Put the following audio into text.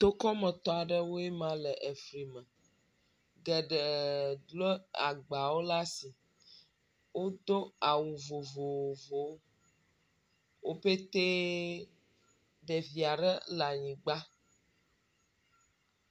Tokɔmetɔ aɖewoe ma le fli me. Geɖe lɔ̃ agbawo ɖe asi. Wodo awu vovovowo. Wopetee ɖevia ɖe le anyigba.